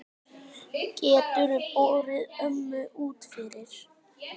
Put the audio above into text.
Geturðu borið ömmu út fyrir?